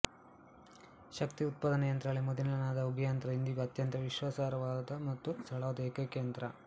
ಶಕ್ತಿ ಉತ್ಪಾದನಯಂತ್ರಗಳಲ್ಲಿ ಮೊದಲಿನದಾದ ಉಗಿಯಂತ್ರ ಇಂದಿಗೂ ಅತ್ಯಂತ ವಿಶ್ವಾಸಾರ್ಹವಾದ ಮತ್ತು ಸರಳವಾದ ಏಕೈಕ ಯಂತ್ರ